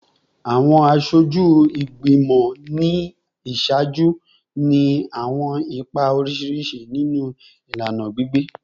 Awọn aṣoju igbimọ ni iṣaaju ni awọn ipa oriṣiriṣi ninu ilana gbigbe